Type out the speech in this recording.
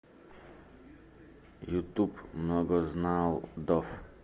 ютуб многознал доф